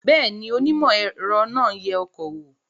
Bẹ́ẹ̀ ni, onímọ̀-ẹ̀rọ náà ń yẹ ọkọ̀ wò